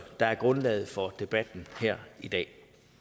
der er grundlaget for debatten her i dag